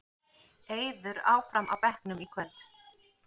Eiður áfram á bekknum í kvöld